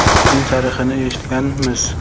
Uning tarixini eshitganmiz.